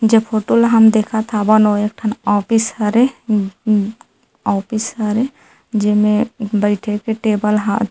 जे फोटो ल हम देखत हावन ओहा एक ठन ऑफिस हरे ऑफिस हरे जेमे बइठे के टेबल हा-- .